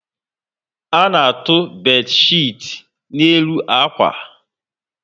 A na-atọ bedchiti n'elu akwa